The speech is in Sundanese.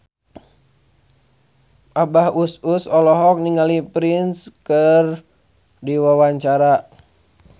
Abah Us Us olohok ningali Prince keur diwawancara